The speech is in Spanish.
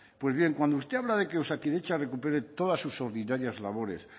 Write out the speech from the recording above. pues bien cuando usted habla de que osakidetza recupere todas sus ordinarias labores